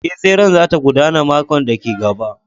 Ee, tseren za ta gudana makon da ke gaba